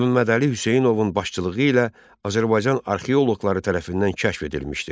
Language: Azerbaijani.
Nümmədəli Hüseynovun başçılığı ilə Azərbaycan arxeoloqları tərəfindən kəşf edilmişdir.